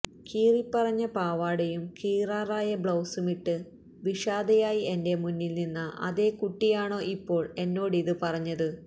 കീറിപ്പറഞ്ഞ പാവടയും കീറാറായ ബ്ലൌസുമിട്ട് വിഷാദയായി എന്റെ മുന്നിൽ നിന്ന അതേകുട്ടിയാണോ ഇപ്പോൾ എന്നോടിത് പറഞ്ഞത്